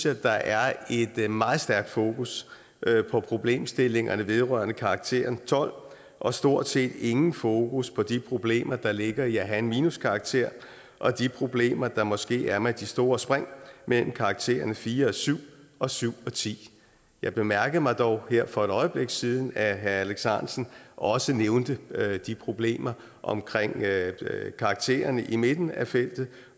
at der er et meget stærkt fokus på problemstillingerne vedrørende karakteren tolv og stort set intet fokus på de problemer der ligger i at have en minuskarakter og de problemer der måske er med de store spring mellem karaktererne fire og syv og syv og tiende jeg bemærkede dog her for et øjeblik siden at herre alex ahrendtsen også nævnte de problemer omkring karaktererne i midten af feltet